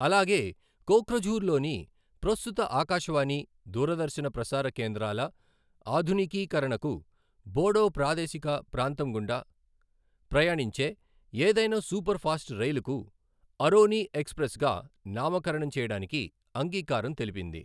అలాగే కోక్రఝార్లోని ప్రస్తుత ఆకాశవాణి, దూరదర్శన ప్రసార కేంద్రాల ఆధునికీకరణకు, బోడో ప్రాదేశిక ప్రాంతం గుండా ప్రయాణించే ఏదైనా సూపర్ ఫాస్ట్ రైలుకు అరోని ఎక్స్ప్రెస్ గా నామకరణం చేయడానికి అంగీకారం తెలిపింది.